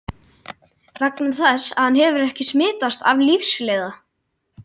Vegna þess að hann hefur ekki smitast af lífsleiða.